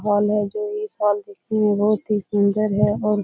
hall हैं जो इस हॉल देखने मे बहुत ही सुन्दर है और --